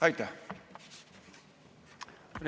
Aitäh!